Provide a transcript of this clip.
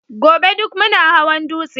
gobe duk muna hawan dutse